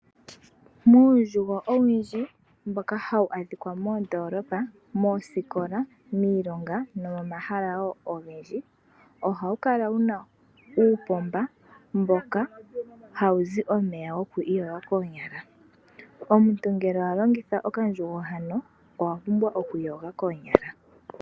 Muundjugo owundji mboka hawu adhika moondoolopa, moosikola, miilonga no momahala ogendji, ohawu kala wuna uupomba mboka hawuzi omeya goku iyoga koonyala. Omuntu ngele alongitha okandjugo, owa pumbwa oku iyoga koonyala.